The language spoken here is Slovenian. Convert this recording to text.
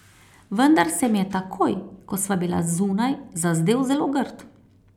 Vendar se mi je takoj, ko sva bila zunaj, zazdel zelo grd.